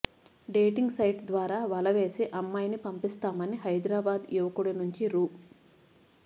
dating site ద్వారా వల వేసి అమ్మాయిని పంపిస్తామని హైదరాబాద్ యువకుడి నుంచి రూ